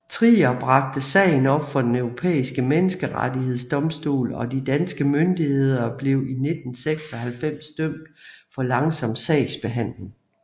Trier bragte sagen op for Den Europæiske Menneskerettighedsdomstol og de danske myndigheder blev i 1996 dømt for langsom sagsbehandling